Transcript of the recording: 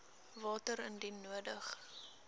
water indien nodig